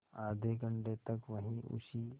आधे घंटे तक वहीं उसी